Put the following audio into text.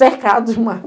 cercado de mato.